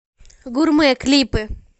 гурмэ клипы